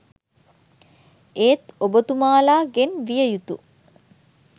ඒත් ඔබතුමාලාගෙන් විය යුතු